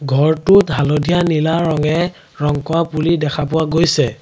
ঘৰটোত হালধীয়া নীলা ৰঙে ৰং কৰা বুলি দেখা পোৱা গৈছে।